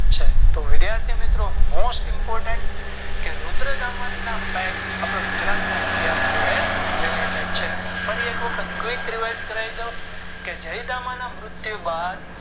છે તો વિધાથીમિત્રો Most important કે રુદ્રતામણ ના Fact આપણા ગુજરાત ના ઇતિહાસ જોડે related છે ફરી એક વખત Quick Rewrite કરાવી દવ કે જયદામન ના મૃત્યુ બાદ